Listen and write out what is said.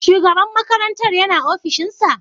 Shugaban makarantar yana ofishinsa?